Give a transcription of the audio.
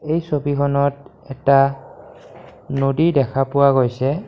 এই ছবিখনত এটা নদী দেখা পোৱা গৈছে।